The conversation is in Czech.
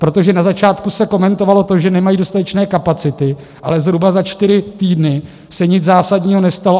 Protože na začátku se komentovalo to, že nemají dostatečné kapacity, ale zhruba za čtyři týdny se nic zásadního nestalo.